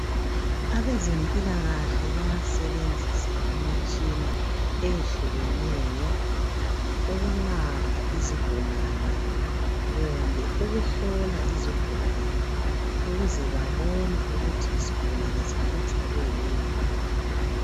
Abezimpilakahle bayasebenzisa imitshina eyehlukeneyo ukulapha izigulane kumbe ukuhlola izigulane ukuze babone ukuthi isigulane sihlutshwa yikuyini.